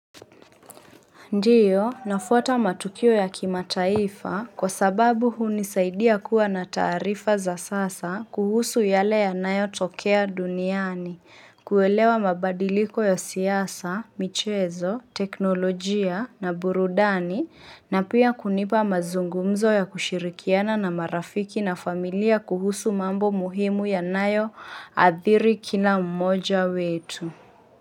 Ndiyo, nafuata matukio ya kimataifa kwa sababu hunisaidia kuwa na taarifa za sasa kuhusu yale yanayotokea duniani, kuelewa mabadiliko ya siasa, michezo, teknolojia na burudani na pia kunipa mazungumzo ya kushirikiana na marafiki na familia kuhusu mambo muhimu yanayo athiri kila mmoja wetu.